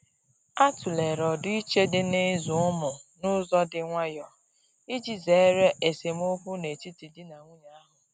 A tụ̀lere ọdiiche dị n'ịzụ ụmụ n'ụzọ dị nwayò iji zere esemokwu n'etiti di na nwunye ahu.